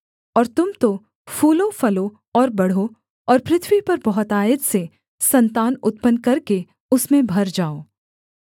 और तुम तो फूलोफलो और बढ़ो और पृथ्वी पर बहुतायत से सन्तान उत्पन्न करके उसमें भर जाओ